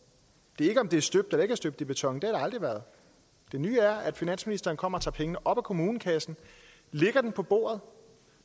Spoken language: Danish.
det er ikke om det er støbt eller ikke er støbt i beton det aldrig været det nye er at finansministeren kommer og tager pengene op af kommunekassen og lægger dem på bordet